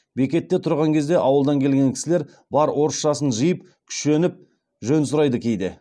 бекетте тұрған кезде ауылдан келген кісілер бар орысшасын жиып күшеніп жөн сұрайды кейде